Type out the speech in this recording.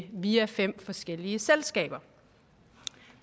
via fem forskellige selskaber